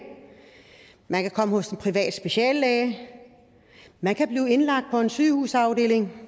man kan komme hos en privat speciallæge man kan blive indlagt på en sygehusafdeling